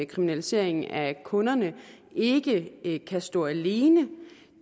kriminalisering af kunderne ikke ikke kan stå alene